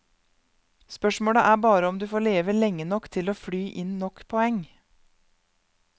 Spørsmålet er bare om du får leve lenge nok til å fly inn nok poeng.